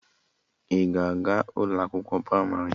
Ị ga-aga ụlọ akwụkwọ pramarị?